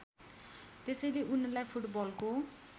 त्यसैले उनलाई फुटबलको